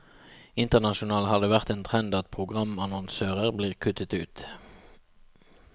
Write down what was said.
Internasjonalt har det vært en trend at programannonsører blir kuttet ut.